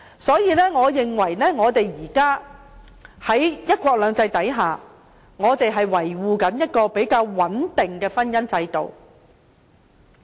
所以，我認為現時在"一國兩制"下，我們正在維護一個比較穩定的婚姻制度。